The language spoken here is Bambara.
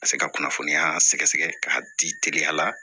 Ka se ka kunnafoniya sɛgɛ sɛgɛ k'a di teliya la